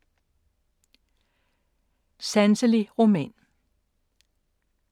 Sanselig roman